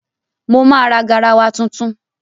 Mo máa ra garawa tuntun.